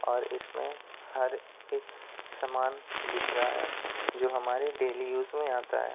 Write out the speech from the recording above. और इसमें हर एक समान दिख रहा है जो हमारे डेली यूज में आता है।